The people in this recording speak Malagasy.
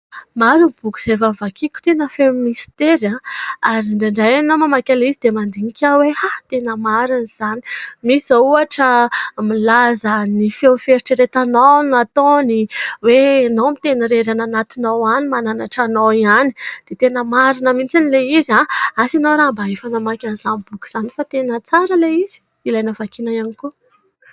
Maro ny boky izay efa nivakiako tena feno mistera ary indraindray mamaky an'ilay izy dia mandinika aho hoe tena marina izany. Misy izao ohatra milaza ny feo fieritreretanao no ataony hoe anao miteny irery any anatinao any mananatra anao ihany. Dia tena marina mihintsy ilay izy. Asa anao mba efa namaky an'izany boky izany fa tena tsara ilay izy, ilaina hovakiana ihany koa.